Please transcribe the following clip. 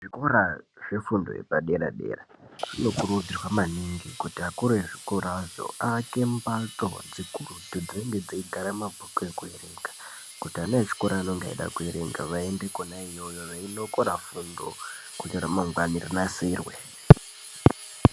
Zvikora zve fundo yepa dera dera zvinokurudzirwa maningi kuti akuru ezvikora zvo aake mbatso dzikurutu dzinenge dzeigara mabhuku eku erenga kuti ana echikoro anonga eida kuerenga ayende kona iyoyo veinokora fundo kuti ra mangwani rinasirwe.